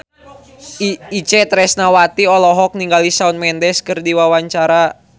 Itje Tresnawati olohok ningali Shawn Mendes keur diwawancara